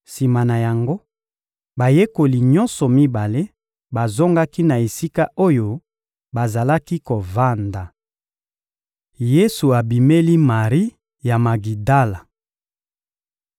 Sima na yango, bayekoli nyonso mibale bazongaki na esika oyo bazalaki kovanda. Yesu abimeli Mari ya Magidala